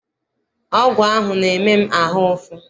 Ọgwụ ahụ na-eme m ahụ ụfụ.